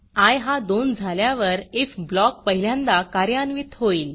I हा 2 झाल्यावर IF blockइफ ब्लॉक पहिल्यांदा कार्यान्वित होईल